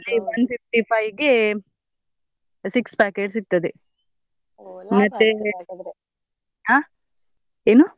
ಅಲ್ಲಿ one fifty five ಗೆ six packet ಸಿಗ್ತದೆ ಆಹ್ ಏನು?